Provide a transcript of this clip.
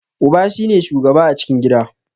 Uba shi ne shugaba a cikin gida.